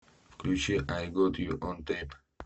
включи ай гот ю он тэйп